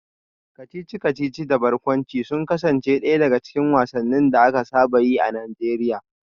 Kacici-kacici da barkwanci sun kasance daya daga cikin wasannin da aka saba yi a Najeriya